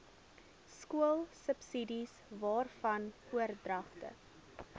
skoolsubsidies waarvan oordragte